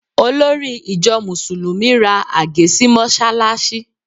Olórí ìjọ Mùsùlùmí ra àgé sí mọ́ṣáláṣí